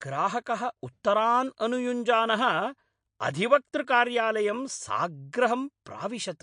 ग्राहकः उत्तरान् अनुयुञ्जानः अधिवक्तृकार्यालयं साग्रहं प्राविशत्!